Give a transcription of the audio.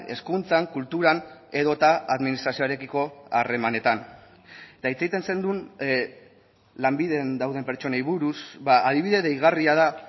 hezkuntzan kulturan edota administrazioarekiko harremanetan eta hitz egiten zenuen lanbiden dauden pertsonei buruz adibide deigarria da